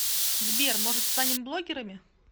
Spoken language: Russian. сбер может станем блогерами